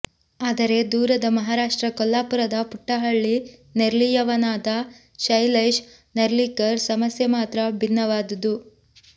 ಆದರೆ ದೂರದ ಮಹಾರಾಷ್ಟ್ರ ಕೊಲ್ಲಾಪುರದ ಪುಟ್ಟ ಹಳ್ಳಿ ನೆರ್ಲಿಯವನಾದ ಶೈಲೇಶ್ ನೆರ್ಲಿಕರ್ ಸಮಸ್ಯೆ ಮಾತ್ರ ಭಿನ್ನವಾದುದು